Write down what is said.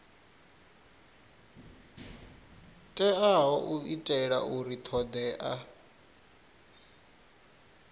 teaho u itela uri thodea